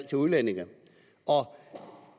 til udlændinge